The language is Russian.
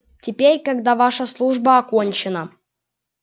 теперь когда ваша служба окончена